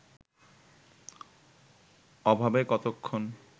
ওভাবে কতক্ষণ